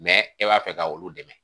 e b'a fɛ ka olu dɛmɛ.